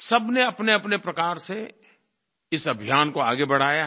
सबने अपनेअपने प्रकार से इस अभियान को आगे बढ़ाया है